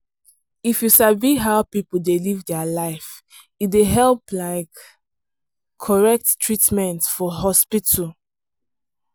if you sabi how people dey live their life e dey help like correct treatment for hospital.